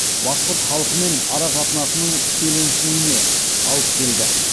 башқұрт халқымен арақатынасының шиеленісуіне алып келді